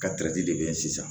Ka de be yen sisan